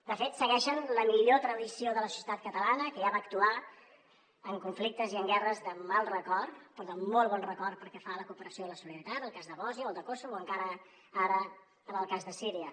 de fet segueixen la millor tradició de la societat catalana que ja va actuar en conflictes i en guerres de mal record però de molt bon record pel que fa a la cooperació i la solidaritat el cas de bòsnia o el de kosovo o encara ara en el cas de síria